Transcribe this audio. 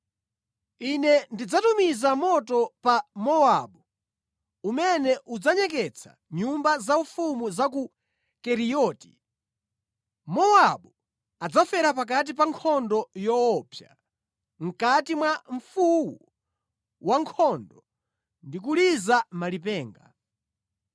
Ine ndidzatumiza moto pa Mowabu, umene udzanyeketsa nyumba zaufumu za ku Keriyoti. Mowabu adzafera pakati pa nkhondo yoopsa, mʼkati mwa mfuwu wa nkhondo ndi kuliza malipenga.